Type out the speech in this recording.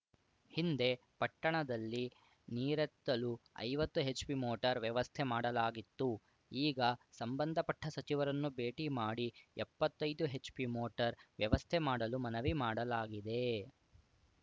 ಹಿಂದೆ ಪಟ್ಟಣದಲ್ಲಿ ನಿರೇತ್ತಲು ಐವತ್ತು ಹೆಚ್‌ಪಿ ಮೋಟಾರ್‌ ವ್ಯವಸ್ಥೆ ಮಾಡಲಾಗಿತ್ತು ಈಗ ಸಂಬಂಧಪಟ್ಟಸಚಿವರನ್ನು ಭೇಟಿ ಮಾಡಿ ಎಪ್ಪತ್ತೈದು ಹೆಚ್‌ಪಿ ಮೋಟಾರ್‌ ವ್ಯವಸ್ಥೆ ಮಾಡಲು ಮನವಿ ಮಾಡಲಾಗಿದೆ